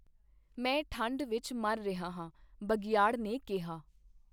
ਮੈਂ ਠੰਢ ਵਿਚ ਮਰ ਰਿਹਾ ਹਾਂ, ਬਘਿਆੜ ਨੇ ਕਿਹਾ।